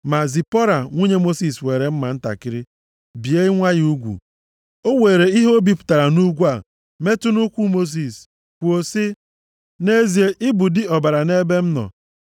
Ma Zipọra nwunye Mosis weere mma ntakịrị bie nwa ya ugwu. O were ihe o bipụtara nʼugwu a metụ nʼụkwụ Mosis, kwuo sị, “Nʼezie, ị bụ di ọbara nʼebe m nọ.”